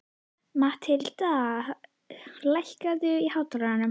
Mathilda, lækkaðu í hátalaranum.